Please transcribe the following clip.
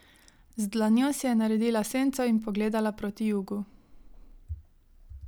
Z dlanjo si je naredila senco in pogledala proti jugu.